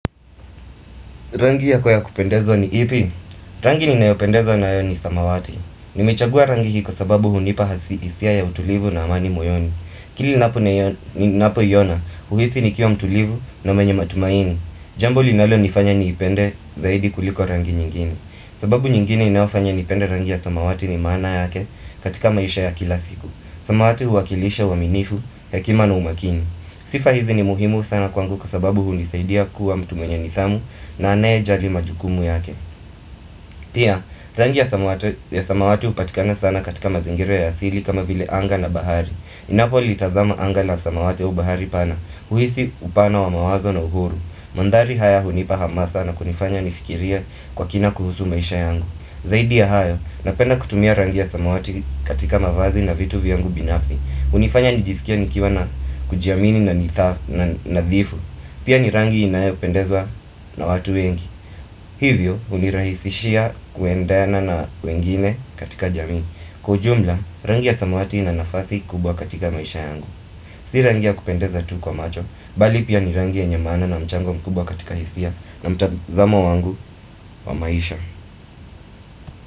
Rangi yako ya kupendeza ni ipi? Rangi ni nayopendezwa na yoni samawati. Nimechagua rangi hii kwa sababu hunipa hasi isia ya utulivu na amani moyoni. Kili na po yona, uhisi ni kiwa mtulivu na mwenye matumaini. Jambo linalo nifanya niipende zaidi kuliko rangi nyingine sababu nyingine inayofanya niipende rangi ya samawati ni maana yake katika maisha ya kila siku. Samawati huakilisha uwaminifu, hekima na umakini. Sifa hizi ni muhimu sana kwangu kwa sababu hunisaidia kuwa mtu mwenye nithamu na anaye jali majukumu yake Pia, rangi ya samawati upatikana sana katika mazingira ya asili kama vile anga na bahari Inapo litazama anga na samawati au bahari pana, huisi upana wa mawazo na uhuru Mandhari haya hunipa hama sana kunifanya nifikirie kwa kina kuhusu maisha yangu Zaidi ya hayo, napenda kutumia rangi ya samawati katika mavazi na vitu vyangu binafsi unifanya nijisikiie nikiwa na kujiamini na nithafu Pia ni rangi inayopendezwa na watu wengi Hivyo unirahisishia kuendana na wengine katika jamii Kwa ujumla rangi ya samawati ina nafasi kubwa katika maisha yangu Si rangi ya kupendeza tu kwa macho Bali pia ni rangi ye nye maana na mchango mkubwa katika hisia na mtazamo wangu wa maisha.